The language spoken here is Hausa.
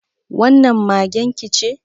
Wannan magen ki ce?